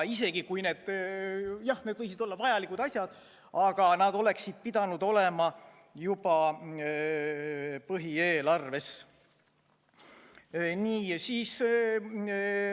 Jah, need võivad olla vajalikud asjad, aga need oleksid pidanud olema juba põhieelarves.